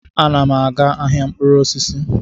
Ana m aga ahịa mkpụrụ osisi.